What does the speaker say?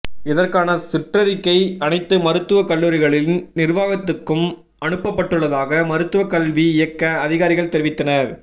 இதற்கான சுற்றறிக்கை அனைத்து மருத்துவக் கல்லூரிகளின் நிர்வாகத்துக்கும் அனுப்பப்பட்டுள்ளதாக மருத்துவக் கல்வி இயக்கக அதிகாரிகள் தெரிவித்தனர்